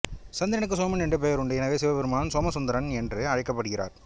சந்திரனுக்கு சோமன் என்ற பெயருண்டு எனவே சிவபெருமான் சோமசுந்தரன் என்று அழைக்கப்படுகிறார்